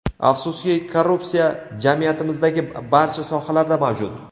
Afsuski, korrupsiya jamiyatimizdagi barcha sohalarda mavjud.